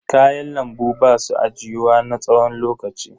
Kayan lambu basu ajiyuwa na tsawon lokaci.